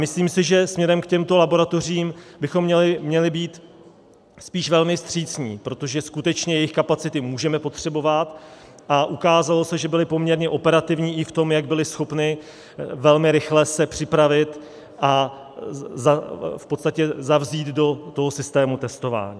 Myslím si, že směrem k těmto laboratořím bychom měli být spíš velmi vstřícní, protože skutečně jejich kapacity můžeme potřebovat, a ukázalo se, že byly poměrně operativní i v tom, jak byly schopny velmi rychle se připravit a v podstatě zavzít do toho systému testování.